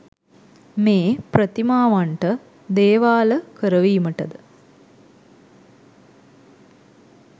මේ ප්‍රතිමාවන්ට දේවාල කරවීමටද